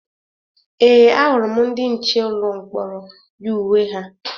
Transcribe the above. Ee, ahụrụ m ndị nche ụlọ mkpọrọ yi uwe ha